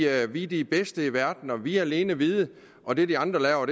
at vi er de bedste i verden vi alene vide og det de andre laver